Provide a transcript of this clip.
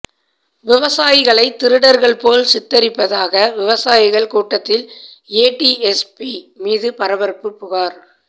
விவசாயிகளை திருடர்களை போல் சித்தரிப்பதாக விவசாயிகள் கூட்டத்தில் ஏடிஎஸ்பி மீது பரபரப்பு புகார்